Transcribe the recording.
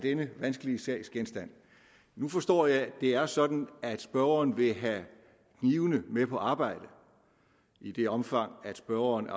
denne vanskelige sag nu forstår jeg at det er sådan at spørgeren vil have knivene med på arbejde i det omfang spørgeren